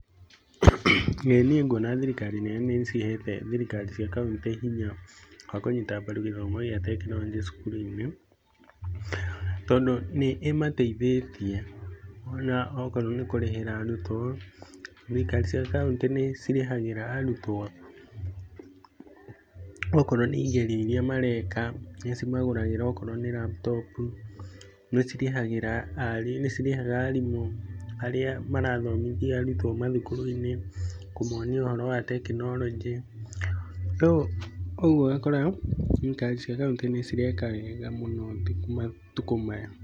ĩĩ niĩ ngũona thirikari nene nĩ ĩcihete thirikari cia County hinya wa kũnyita mbaru githomo gia tekinoronjĩ cukuru-inĩ, tondũ nĩ ĩmateithetie ona okorwo nĩ kũrĩhĩra arutwo, thirikari cia County nĩ cirĩhagĩra arũtwo okorwo nĩ igerio irĩa mareka, nĩ cimagũragĩra onokorwo nĩ laptop, nĩ cirĩhaga arimũ arĩa marathomithia arutwo mathukuru-inĩ, kũmonia ũhoro wa tekinoronjĩ, rĩu ũgũo ũgakora thirikari cia kauntĩ nĩ cireka wega mũno matũkũ-inĩ maya.